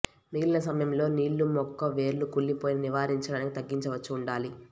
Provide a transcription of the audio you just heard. మిగిలిన సమయంలో నీళ్ళు మొక్క వేర్లు కుళ్ళిపోయిన నివారించడానికి తగ్గించవచ్చు ఉండాలి